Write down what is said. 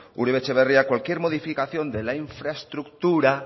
uribe etxebarria cualquier modificación de la infraestructura